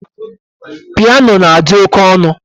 Piano na-adị oké ọnụ